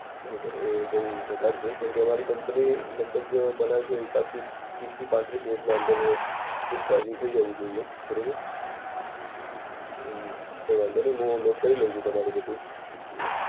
બરોબર એ બૌ વધાર છે કેમકે અમારી કંપની લગ ભગ બનાવે છે એ હિસાબથી, ત્રીસથી પાંત્રીસ મિનિટના અંદર, ફૂલ ચાર્જિંગ થઇ જવું જોઈએ. બરોબર. હમ કઈ વાંધો નઈ, હું નોટ કરી લવ છુ તમારું બધું.